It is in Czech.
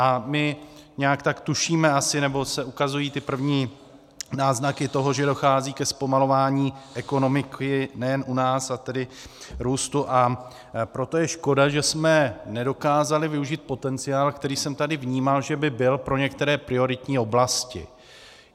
A my nějak tak tušíme asi, nebo se ukazují ty první náznaky toho, že dochází ke zpomalování ekonomiky nejen u nás, a tedy růstu, a proto je škoda, že jsme nedokázali využít potenciál, který jsem tady vnímal, že by byl pro některé prioritní oblasti.